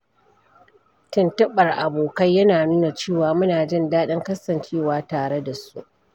Tuntuɓar abokai yana nuna cewa muna jin daɗin kasancewa tare da su.